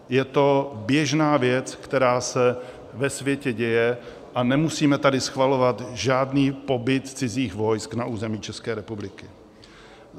Je to běžná věc, která se ve světě děje, a nemusíme tady schvalovat žádný pobyt cizích vojsk na území České republiky.